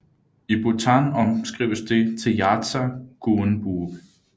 I Bhutan omskrives det til yartsa guenboob